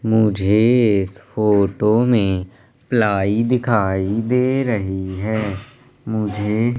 मुझे इस फोटो में प्लाई दिखाई दे रही है मुझे --